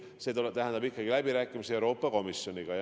See tähendab ikkagi läbirääkimisi Euroopa Komisjoniga.